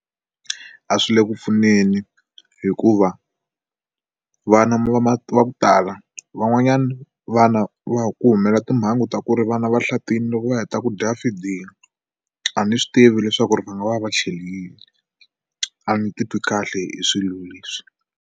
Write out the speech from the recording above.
A swi le ku pfuneni hikuva vana va va ku tala van'wanyana vana va ku humela timhangu ta ku ri vana vahlatile loko va heta ku dya feeding a ni swi tivi leswaku ri va nga va va cheli yini a ni titwi kahle hi swilo leswi.